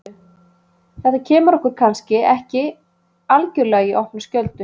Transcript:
Þetta kemur okkur kannski ekki algjörlega í opna skjöldu.